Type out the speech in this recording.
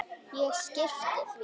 Ég skyrpti því.